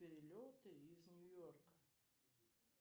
перелеты из нью йорка